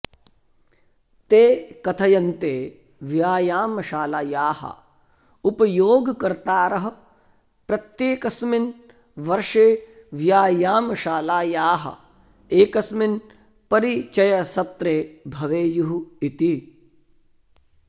ते कथयन्ते व्यायामशालायाः उपयोगकर्तारः प्रत्येकस्मिन् वर्षे व्यायामशालायाः एकस्मिन् परिचयसत्रे भवेयुः इति